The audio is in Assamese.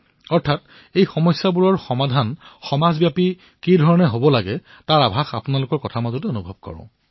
অৰ্থাৎ এক প্ৰকাৰে সমস্যাসমূহৰ সমাধান সমাজব্যাপী কিদৰে হব ইয়াৰ ছবি মই আপোনালোকৰ কথাৰ পৰা অনুভৱ কৰো